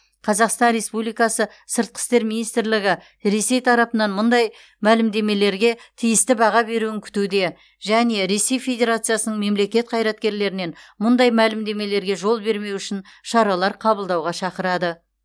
қазақстан республикасы сыртқы істер министрлігі ресей тарапынан мұндай мәлімдемелерге тиісті баға беруін күтуде және ресей федерациясының мемлекет қайраткерлерінен мұндай мәлімдемелерге жол бермеу үшін шаралар қабылдауға шақырады